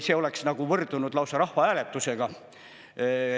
See oleks nagu võrdunud lausa rahvahääletusega.